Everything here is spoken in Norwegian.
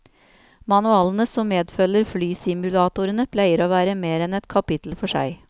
Manualene som medfølger flysimulatorene pleier å være mer enn et kapittel for seg.